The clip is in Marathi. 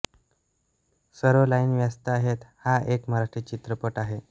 सर्व लाइन व्यस्त आहेत हा एक मराठी चित्रपट आहे